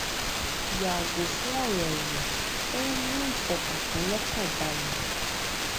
yààgò fún ọrọ ẹyìn ó ń mú ìfọkàntán lọkàn balẹ